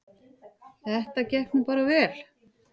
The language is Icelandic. Það gekk nú bara vel.